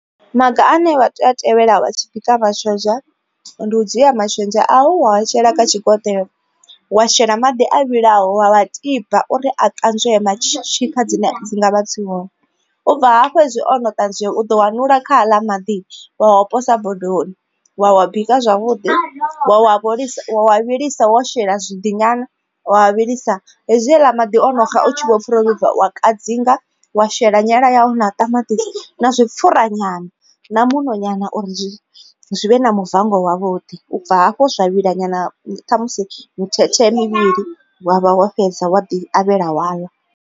Maga ane vha tea u tevhela vha tshi bika mashonzha ndi u dzhia mashonzha au wa shela kha tshigonelo wa shela maḓi a vhilaho wa wa tiba uri a ṱanzwee matshika dzine dzi ngavha dzi hone. U bva hafho hezwi ono ṱanzwiwa u ḓo wanulula kha aḽa maḓi wa wa posa bodoni wa wa bika zwavhuḓi wa vho lisa wa vhilisa wo shela zwiḓi nyana wa vhilisa. Hezwi haḽa maḓi ono ga u tshi vho pfha wo vhibva wa kadzinga wa shela nyala yau na ṱamaṱisi na zwipfhura nyana na muṋo nyana uri zwi zwi vhe na muvango wa vhuḓi. U bva hafho zwa vhila nyana ṱhamusi mithethe mivhili wa vha wo fhedza wa ḓi avhela wa ḽa.